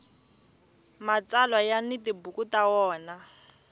mtsalwa ya ni tibuku ta wona